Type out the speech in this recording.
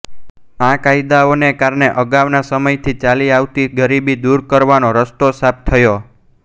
આ કાયદાઓને કારણે અગાઉના સમયથી ચાલી આવતી ગરીબી દૂર કરવાનો રસ્તો સાફ થયો